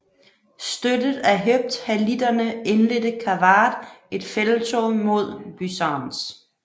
Støttet af hephthalitterne indledte Kavadh et felttog mod Byzantz